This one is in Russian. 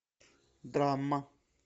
драма